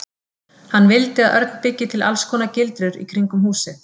Hann vildi að Örn byggi til alls konar gildrur í kringum húsið.